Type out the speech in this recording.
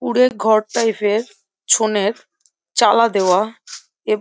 কুড়ে ঘর টাইফ এর ছোঁনের চালা দেওয়া এব --